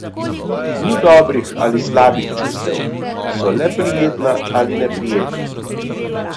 Ni dobrih ali slabih čustev, so le prijetna ali neprijetna.